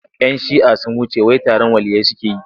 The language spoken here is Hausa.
Yan shi'ah sun wuce wai taron waliyyai suke yi.